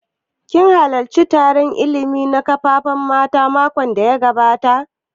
Kin halarci taron illimi a kan ƙarfafa mata makon da ya gabata?